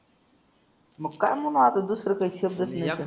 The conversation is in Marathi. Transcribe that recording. मग काय मग मागं दुसरा काय शब्दच नाही.